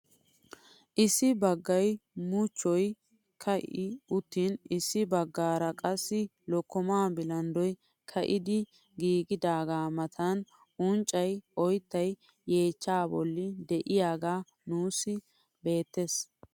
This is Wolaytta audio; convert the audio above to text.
Issi baggay muchchoy ka'i uttin issi baggaara qassi lokkomaa bilanddoy ka'idi giigidagaa matan unccay oyttay yeechchaa bolli de'iyaagee nuusi beettees.